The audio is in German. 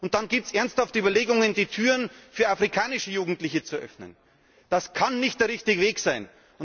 Und dann gibt es ernsthafte Überlegungen, die Türen für afrikanische Jugendliche zu öffnen. Das kann nicht der richtige Weg sein!